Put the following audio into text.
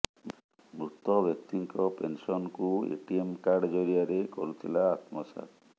ମୃତ ବ୍ୟକ୍ତିଙ୍କ ପେନସନକୁ ଏଟିଏମ କାର୍ଡ ଜରିଆରେ କରୁଥିଲା ଆତ୍ମସାତ୍